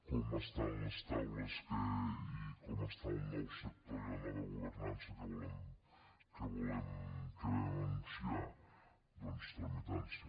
com estan les taules i com està el nou sector i la nova governança que vam anunciar doncs tramitant se